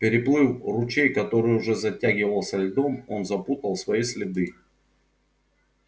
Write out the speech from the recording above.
переплыв ручей который уже затягивался льдом он запутал свои следы